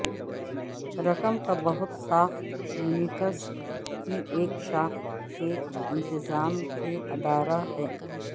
رقم کا بہت ساخت یونٹس کی ایک شاخ کے انتظام کے ادارہ ہے